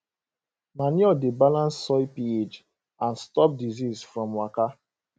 manure dey balance soil ph and stop disease from waka